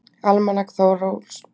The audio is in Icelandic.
Almanak Ólafs Þorgeirssonar.